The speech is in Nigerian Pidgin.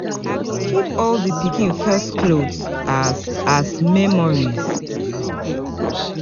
I go keep all di pikin first clothes, as as memories.